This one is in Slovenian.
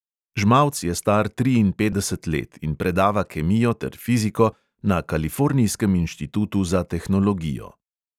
Žmavc je star triinpetdeset let in predava kemijo ter fiziko na kalifornijskem inštitutu za tehnologijo.